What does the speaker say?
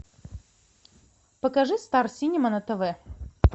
покажи стар синема на тв